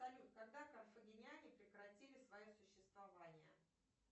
салют когда карфагеняне прекратили свое существование